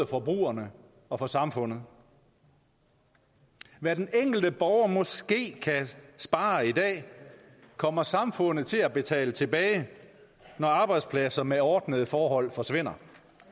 forbrugerne og for samfundet hvad den enkelte borger måske kan spare i dag kommer samfundet til at betale tilbage når arbejdspladser med ordnede forhold forsvinder